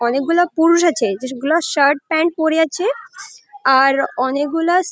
অনেকগুলা পুরুষ আছে যেগুলো শার্ট প্যান্ট পরে আছে আর অনেকগুলা।